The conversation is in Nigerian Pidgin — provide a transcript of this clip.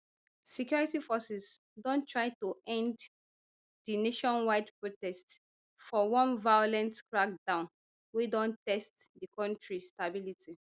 security forces don try to end di nationwide protests for one violent crackdown wey don test di kontri stability